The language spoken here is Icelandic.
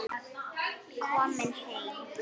Komin heim?